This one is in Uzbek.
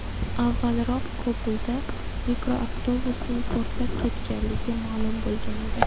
Avvalroq Kobulda mikroavtobusning portlab ketganligi ma’lum bo‘lgan edi.